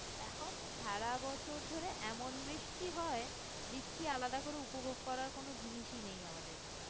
এখন সারা বছর ধরে এমন বৃষ্টি হয় বৃষ্টি আলাদা করে উপভোগ করার কোন জিনিসই নেই আমাদের কাছে